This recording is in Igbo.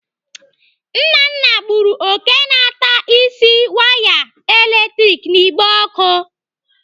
Nnanna gburu òké na-atabisi waya latrik n'igbe ọkụ.